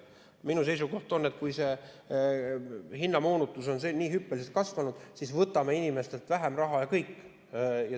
Minu seisukoht on, et kui hinnamoonutus on nii hüppeliselt kasvanud, siis võtame inimestelt vähem raha ja kõik.